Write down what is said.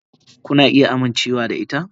Kuna iya amincewa da ita.